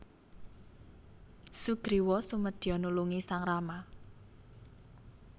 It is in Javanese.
Sugriwa sumedya nulungi sang Rama